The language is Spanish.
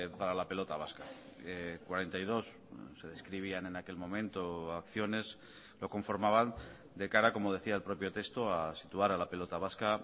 para la pelota vasca cuarenta y dos se describían en aquel momento acciones lo conformaban de cara como decía el propio texto a situar a la pelota vasca